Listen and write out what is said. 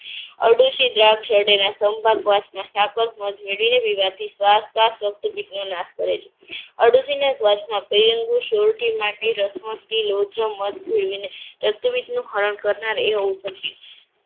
અરડૂસી, દ્રાક્ષરડેના, સાકળ, મધ મેળવીને રક્તપિતનો નાશ કરે છે. અરડુસી ના શ્વાસમાં રક્તપિતનું હરણ કરનાર